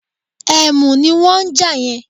Ẹ̀mù ní wọ́n ń jà yẹn